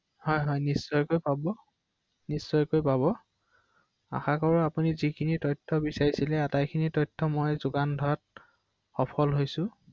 তেওঁৰ সহযোগিতাই আশা কৰিছো৷হয়